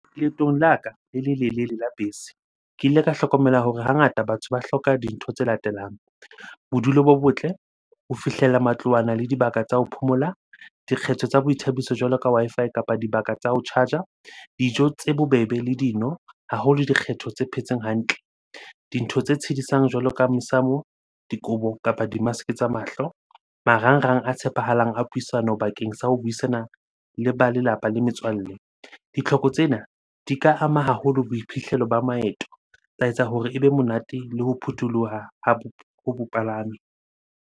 Leetong la ka le lelelele la bese, ke ile ka hlokomela hore hangata batho ba hloka dintho tse latelang. Bodulo bo botle, ho fihlella matlwana le dibaka tsa ho phomola, dikgetho tsa boithabiso jwalo ka Wi-Fi kapa dibaka tsa ho charge-a, dijo tse bobebe le dino, haholo dikgetho tse phetseng hantle. Dintho tse tshedisang jwalo ka mesamo, dikobo kapa di-mask-e tsa mahlo, marangrang a tshepahalang a puisano bakeng sa ho buisana le ba lelapa le metswalle. Ditlhoko tsena di ka ama haholo boiphihlelo ba maeto. Tsa etsa hore ebe monate le ho phutholoha ho bopalami